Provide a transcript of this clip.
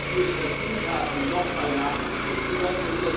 die es verdient haben, nochmal nachjustiert zu werden.